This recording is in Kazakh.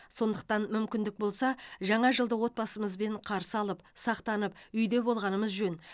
сондықтан мүмкіндік болса жаңа жылды отбасымызбен қарсы алып сақтанып үйде болғанымыз жөн